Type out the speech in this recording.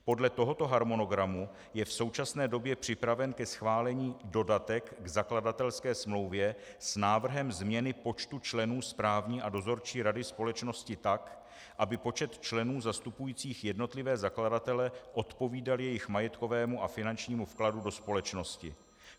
Podle tohoto harmonogramu je v současné době připraven ke schválení dodatek k zakladatelské smlouvě s návrhem změny počtu členů správní a dozorčí rady společnosti tak, aby počet členů zastupujících jednotlivé zakladatele odpovídal jejich majetkovému a finančnímu vkladu do společnosti.